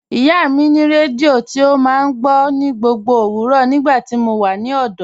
Ìyá mi ni rẹdíò tí o máa ń gbọ̀ ní gbogbo owurọ́ nígbàtí mó wà ní ọ̀dọ̀.